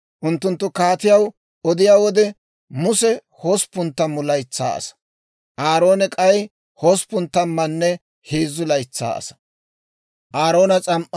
Unttunttu kaatiyaw odiyaa wode, Muse hosppun tammu laytsaa asaa; Aaroone k'ay hosppun tammanne heezzu laytsaa asaa.